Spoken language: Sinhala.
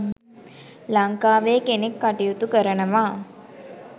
ලංකාවේ කෙනෙක් කටයුතු කරනවා